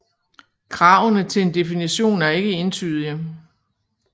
Kravene til en definition er ikke entydige